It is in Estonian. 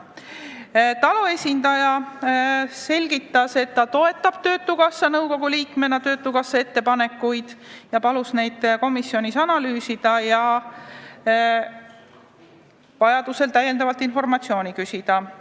TALO esindaja selgitas, et ta toetab töötukassa nõukogu liikmena töötukassa ettepanekuid, ja palus neid komisjonis analüüsida ja vajadusel täiendavat informatsiooni küsida.